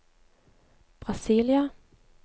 Brasília